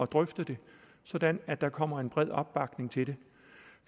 drøfte det sådan at der kommer en bred opbakning til det